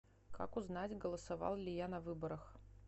как узнать голосовал ли я на выборах